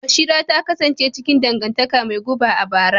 Bashira ta kasance cikin dangantaka mai guba a bara.